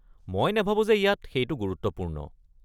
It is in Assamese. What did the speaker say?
মই নাভাবো যে ইয়াত সেইটো গুৰুত্বপূৰ্ণ।